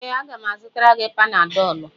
Ee, a ga m azụtara gị Panadọlụ.